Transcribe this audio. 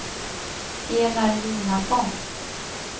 Enar Jonasson